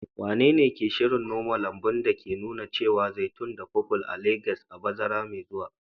Wanene ke shirin noma lambun da ke nuna ciyawar zaitun da purple a Legas a bazara mai zuwa?